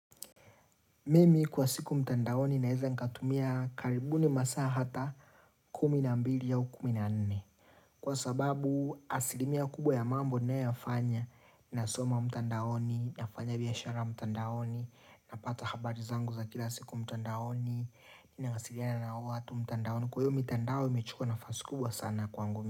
Mimi kwa siku mtandaoni naeza nikatumia karibuni masaa hata kumi na mbili au kumi na nne. Kwa sababu asilimia kubwa ya mambo ninayoyafanya, nasoma mtandaoni, nafanya biashara mtandaoni, napata habari zangu za kila siku mtandaoni, ninawasiliana na watu mtandaoni. Kwa hiyo mitandao imechukuwa nafasi kubwa sana kwangu mimi.